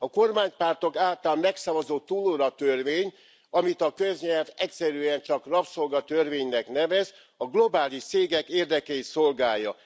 A kormánypártok által megszavazott túlóratörvény, amit a köznyelv egyszerűen csak rabszolgatörvénynek nevez, a globális cégek érdekeit szolgálja.